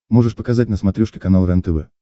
можешь показать на смотрешке канал рентв